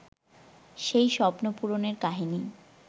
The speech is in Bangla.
সেই স্বপ্ন পূরণের কাহিনি